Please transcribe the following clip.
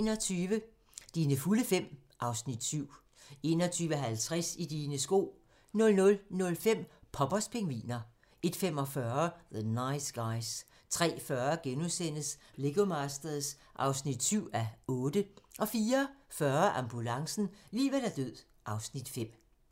21:00: Dine fulde fem (Afs. 7) 21:50: I dine sko 00:05: Poppers pingviner 01:45: The Nice Guys 03:40: Lego Masters (7:8)* 04:40: Ambulancen - liv eller død (Afs. 5)